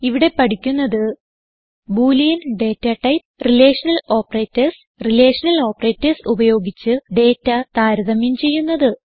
ഇവിടെ പഠിക്കുന്നത് boolean data type relational operators relational operators ഉപയോഗിച്ച് ഡേറ്റ താരതമ്യം ചെയ്യുന്നത്